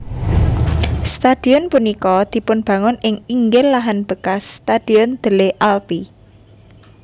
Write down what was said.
Stadion punika dipunbangun ing inggil lahan bekas Stadion Delle Alpi